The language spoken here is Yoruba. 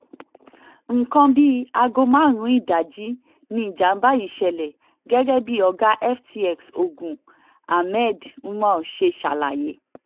nǹkan bíi aago márùn-ún ìdajì níjàmbá yìí ṣẹlẹ̀ gẹ́gẹ́ bí ọ̀gá ftx ogun ahmed umar ṣe ṣàlàyé